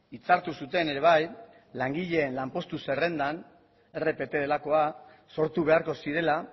itzartu zuten ere bai langileen lanpostu zerrendan rpt delakoa sortu beharko zirela